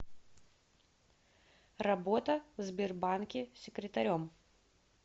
работа в сбербанке секретарем